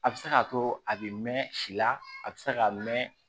A bɛ se k'a to a bɛ mɛn si la a bɛ se k'a mɛn